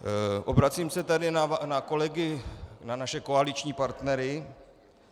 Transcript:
Obracím se tedy na kolegy - na naše koaliční partnery.